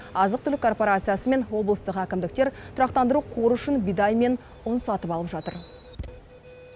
азық түлік корпорациясы мен облыстық әкімдіктер тұрақтандыру қоры үшін бидай мен ұн сатып алып жатыр